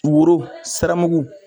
Woro siramugu.